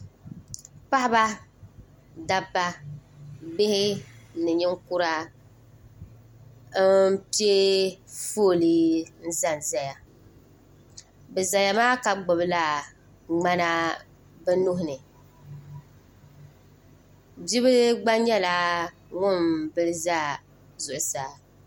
paɣ' ba da ba bihi ni nɛkura n pɛƒɔli n zan zaya be za maa ka gbala gbana be nuhini bɛ bila gba nyɛla ŋɔ beliza zuɣ saa